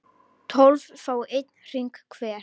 tólf fái einn hring hver